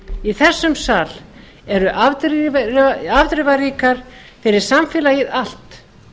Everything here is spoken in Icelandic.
í þessum sal eru afdrifaríkar fyrir samfélagið allt